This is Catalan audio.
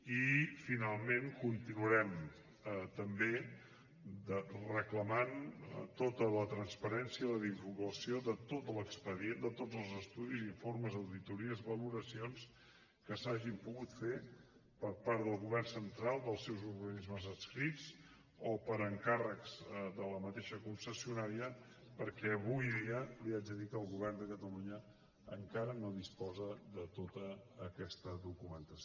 i finalment continuarem també reclamant tota la transparència la informació de tot l’expedient de tots els estudis informes auditories valoracions que s’hagin pogut fer per part del govern central dels seus organismes adscrits o per encàrrec de la mateixa concessionària perquè avui dia li haig de dir que el govern de catalunya encara no disposa de tota aquesta documentació